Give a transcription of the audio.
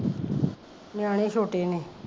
ਨਿਆਣੇ ਛੋਟੇ ਨੇ